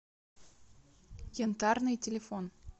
янтарный телефон